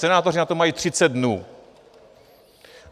Senátoři na to mají 30 dnů.